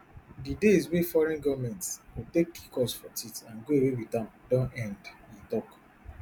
di days wey foreign goments go take kick us for teeth and go away wit am don end e tok